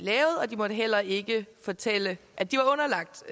måtte heller ikke fortælle at de var underlagt